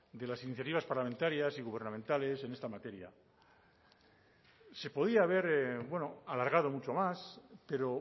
de las iniciativas parlamentarias y gubernamentales en esta materia se podía haber alargado mucho más pero